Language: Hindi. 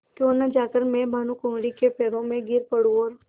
क्यों न जाकर मैं भानुकुँवरि के पैरों पर गिर पड़ूँ और